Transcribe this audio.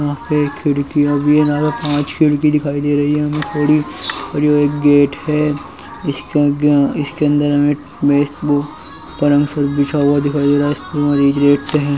एक खिड़की पांच खिड़की दिखाई दे रही है यहाँ पर गेट है इसके अ अंदर बिछा हुआ दिखाई दे रहा है वही गेट है।